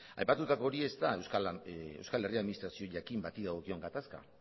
aipatutako hori ez da euskal herri administrazio jakin bati dagokion gatazka